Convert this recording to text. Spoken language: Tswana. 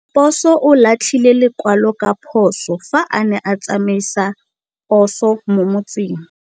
Raposo o latlhie lekwalô ka phosô fa a ne a tsamaisa poso mo motseng.